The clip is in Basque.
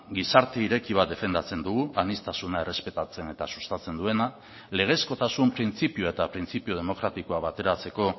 gizarte ireki bat defendatzen dugu aniztasuna errespetatzen eta sustatzen duena legezkotasun printzipioa eta printzipio demokratikoa bateratzeko